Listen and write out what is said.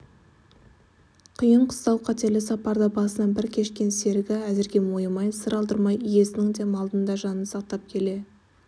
қиын-қыстау қатерлі сапарды басынан бір кешкен серігі әзірге мойымай сыр алдырмай иесінің де малдың да жанын сақтап келе